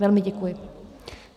Velmi děkuji.